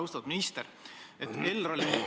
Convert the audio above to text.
Austatud minister!